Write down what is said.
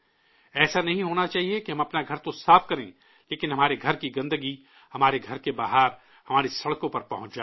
ایسا نہیں ہونا چاہیے کہ ہم اپنا گھر تو صاف کریں، لیکن ہمارے گھر کی گندگی ہمارے گھر کے باہر، ہماری سڑکوں پر پہنچ جائے